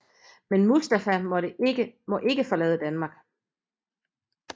Men Mustafa må ikke forlade Danmark